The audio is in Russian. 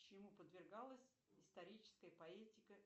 чему подвергалась историческая поэтика